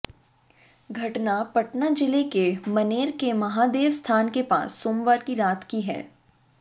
घटना पटना जिले के मनेर के महादेव स्थान के पास सोमवार की रात की है